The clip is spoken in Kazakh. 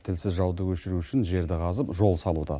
тілсіз жауды өшіру үшін жерді қазып жол салуда